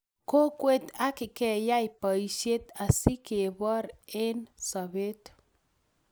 kokwet ak keyay boishet asigeboor eng sobet